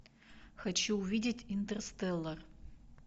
хочу увидеть интерстеллар